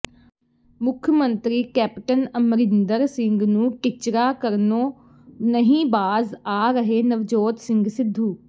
ਮੁੱਖ ਮੰਤਰੀ ਕੈਪਟਨ ਅਮਰਿੰਦਰ ਸਿੰਘ ਨੂੰ ਟਿੱਚਰਾ ਕਰਨੋ ਨਹੀਂ ਬਾਜ਼ ਆ ਰਹੇ ਨਵਜੋਤ ਸਿੰਘ ਸਿਧੂ